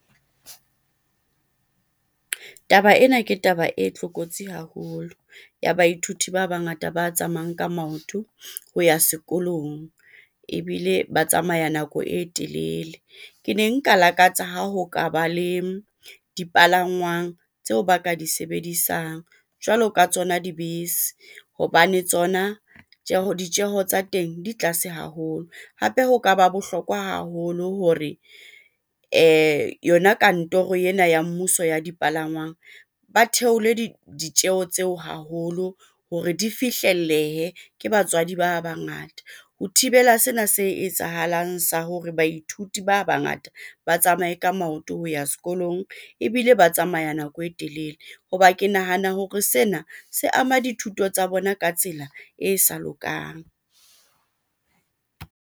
Taba ena ke taba e tlokotsi haholo ya baithuti ba bangata ba tsamayang ka maoto ho ya sekolong ebile ba tsamaya nako e telele. Ke ne nka lakatsa ha ho ka ba le dipalangwang tseo ba ka di sebedisang jwalo ka tsona dibese hobane tsona ditjeho tsa teng di tlase haholo, hape ho ka ba bohlokwa haholo hore yona kantorong ena ya mmuso ya dipalangwang ba theole ditjeho tseo haholo hore di fihlellehe. Ke batswadi ba bangata ho thibela sena se etsahalang sa hore baithuti ba bangata ba tsamaye e ka maoto ho ya sekolong ebile ba tsamaya nako e telele, ho ba ke nahana hore sena se ama dithuto tsa bona ka tsela e sa lokang.